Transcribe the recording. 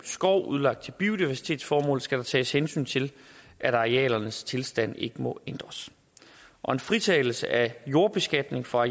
skov udlagt til biodiversitetsformål skal der tages hensyn til at arealernes tilstand ikke må ændres og en fritagelse af jordbeskatning for